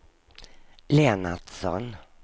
Lennartsson